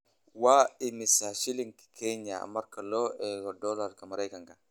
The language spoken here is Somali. Waa imisa shilinka Kenya marka loo eego dollarka Maraykanka?